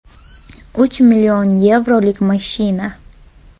Uch mln yevrolik mashina.